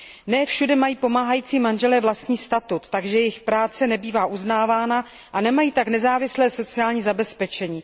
Ne všude mají pomáhající manželé vlastní statut, takže jejich práce nebývá uznávána a nemají tak nezávislé sociální zabezpečení.